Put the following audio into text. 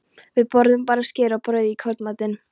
Við borðuðum bara skyr og brauð í kvöldmatinn.